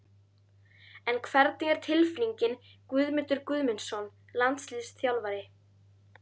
En hvernig er tilfinningin Guðmundur Guðmundsson landsliðsþjálfari?